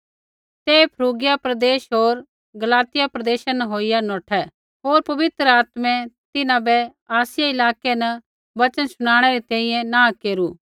ते फ्रूगिया प्रदेश होर गलातिया प्रदेशा न होईया नौठै होर पवित्र आत्मै तिन्हां बै आसिया इलाकै न वचन शुणाणै री तैंईंयैं नाँह केरू